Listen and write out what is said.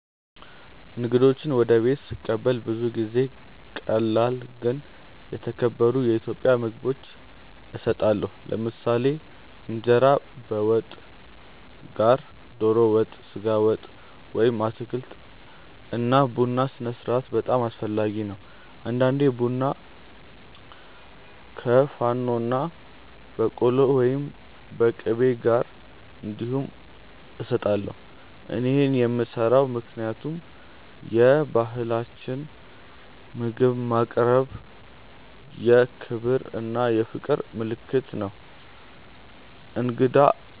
እንግዶችን ወደ ቤት ስቀበል ብዙ ጊዜ ቀላል ግን የተከበሩ የኢትዮጵያ ምግቦች እሰጣለሁ። ለምሳሌ እንጀራ ከወጥ ጋር (ዶሮ ወጥ፣ ስጋ ወጥ ወይም አትክልት) እና ቡና ስነስርዓት በጣም አስፈላጊ ነው። አንዳንዴ ቡና ከፋኖና በቆሎ ወይም ቂቤ ጋር እንዲሁም እሰጣለሁ። እኔ ይህን የምሰራው ምክንያቱም በባህላችን ምግብ ማቅረብ የክብር እና የፍቅር ምልክት ነው። እንግዳን